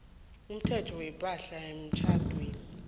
umthetho wepahla yemtjhadweni